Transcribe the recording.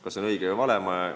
Kas see on õige või vale?